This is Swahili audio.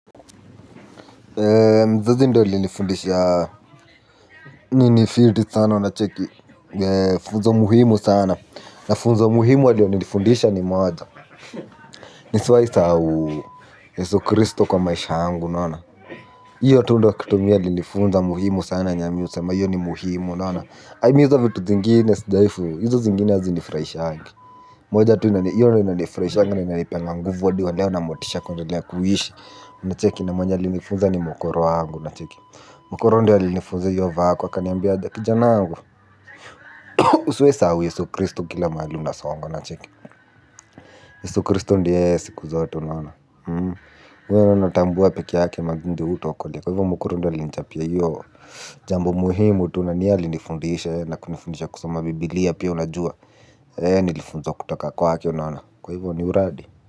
Mzazi ndo alinifundisha. Nini fiti sana unacheki. Funzo muhimu sana. Na funzo muhimu alilonifundisha ni moja. Nisiwahi sahau Yesu Christo kwa maisha yangu. Unaona? Iyo tu ndo kitu mi alinifunza muhimu sana yenye mi husema hiyo ni muhimu unaona hadi hizovitu zingine sijawai, hizo zingine hazonifurahishangi. Moja tu naona hiyo ndo inanifurahishanga na inanipanga nguvu na motisha kwendelea kuishi. Unacheki na mwenye alinifunza ni mokoro wangu unacheki. Mkoro ndiye alinifunza hiyo vako akaniambiaje kijanangu. Usiwahi sahau Yesu Christo kila mhali unasongo unacheki. Yesu Christo ndie yeye siku zote unaona. Kwa hiyo mimi natambua pekee yake mazee yee ndo hutuokolea. Kwa hivo mkoro ndio alinichapia hiyo jambo muhimu tu na ni yeye alinifundisha. Na kunifundisha kusoma bibilia pia unajua. Nilifunzwa kutoka kwake unaona. Kwa hivo ni uradi.